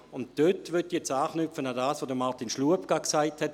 Diesbezüglich möchte ich an das anknüpfen, was Martin Schlup eben gesagt hat.